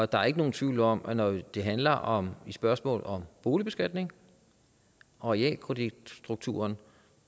der er ikke nogen tvivl om at når det handler om spørgsmål om boligbeskatning og realkreditstrukturen